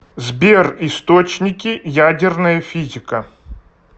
сбер источники ядерная физика